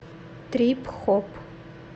трип хоп